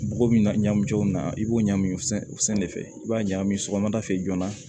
Bɔgɔ min n'a ɲagami jɔ in na i b'o ɲagami o sanfɛ de i b'a ɲagami sɔgɔmada fɛ joona